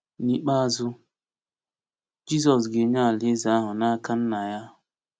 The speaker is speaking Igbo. N’ikpeazụ, Jizọs ga-enye Alaeze ahụ n’aka Nna ya.